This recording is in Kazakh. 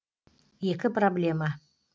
екі проблема